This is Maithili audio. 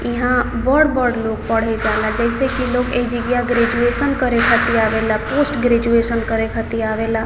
यहाँ बोर बोर लोग पढ़े जाय ले जैसे लोग ऐजा ग्रेजुएशन करे खातिर आवेला पोस्ट ग्रेजुएशन करे खातिर आवेला ।